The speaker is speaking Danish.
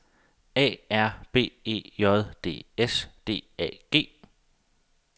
A R B E J D S D A G